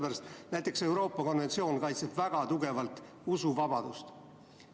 Näiteks kaitseb Euroopa konventsioon väga tugevalt usuvabadust.